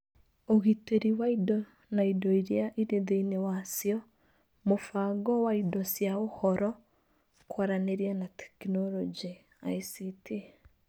Ũgitĩri wa indo na indo iria irĩ thĩinĩ wacio, mũbango wa indo cia Ũhoro, Kwaranĩria na Teknoroji (ICT).